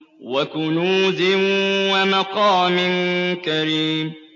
وَكُنُوزٍ وَمَقَامٍ كَرِيمٍ